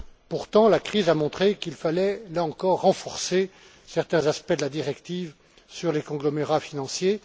Pourtant, la crise a montré qu'il fallait, là encore, renforcer certains aspects de la directive sur les conglomérats financiers.